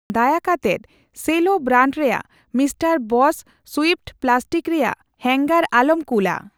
ᱫᱟᱭᱟ ᱠᱟᱛᱮᱫ Sello brand ᱨᱮᱭᱟᱜ ᱢᱤᱥᱴᱟᱨ ᱵᱚᱥ ᱥᱩᱭᱤᱯᱷᱴ ᱯᱞᱟᱥᱴᱤᱠ ᱨᱮᱭᱟᱜ ᱦᱟᱝᱜᱟᱨ ᱟᱞᱚᱢ ᱠᱩᱞᱼᱟ ᱾